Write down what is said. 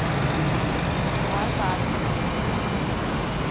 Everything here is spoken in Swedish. Det här är världens enda supermakt.